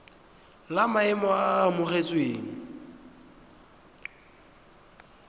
la maemo a a amogelesegang